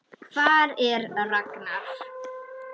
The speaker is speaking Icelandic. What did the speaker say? Hvar er Ragnar?